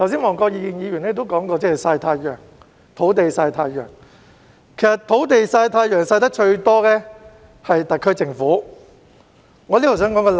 黃國健議員剛才提到"土地曬太陽"，其實曬得最多的是特區政府的土地。